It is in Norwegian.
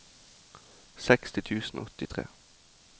seksti tusen og åttitre